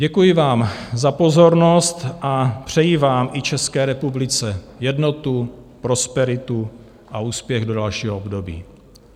Děkuji vám za pozornost a přeji vám i České republice jednotu, prosperitu a úspěch do dalšího období.